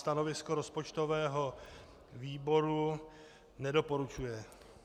Stanovisko rozpočtového výboru - nedoporučuje.